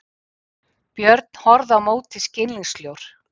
Björn horfði á móti skilningssljór.